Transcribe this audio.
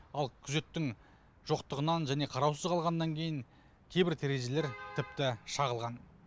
ал күзеттің жоқтығынан және қараусыз қалғаннан кейін кейбір терезелер тіпті шағылған